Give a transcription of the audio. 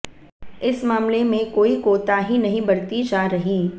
इस मामले में कोई कोताही नहीं बरती जा रही